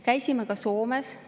Käisime ka Soomes.